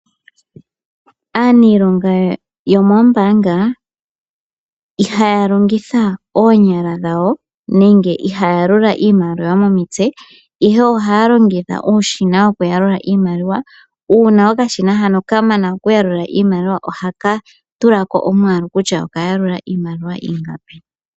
Aanilonga yomombaanga ihaya longitha oonyala dhawo nenge ihaya yalula iimaliwa momitse ihe ohaya longitha uushina woku yalula iimaliwa uuna okashina haka kamana okuyalula iimaliwa ohaka tula ko omwaalu kutya okayalula iimaliwa ingapi.